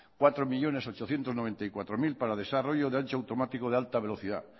cuatro millónes ochocientos noventa y cuatro mil para desarrollo de ancho automático de alta velocidad